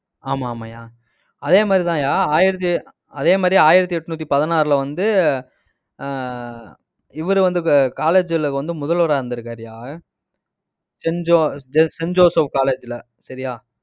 ஆமா ஆமாய்யா அதே மாதிரிதாய்யா, ஆயிரத்தி அஹ் அதே மாதிரி ஆயிரத்தி எட்நூத்தி பதினாறுல வந்து, ஆஹ் இவர் வந்து, college ல வந்து, முதல்வரா இருந்திருக்காருயா. saint jose~ saint joseph college ல சரியா?